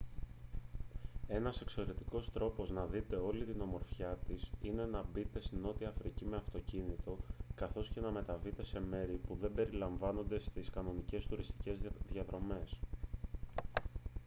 ένας εξαιρετικός τρόπος να δείτε όλη την ομορφιά της είναι να μπείτε στη νότια αφρική με αυτοκίνητο καθώς και να μεταβείτε σε μέρη που δεν περιλαμβάνονται στις κανονικές τουριστικές διαδρομές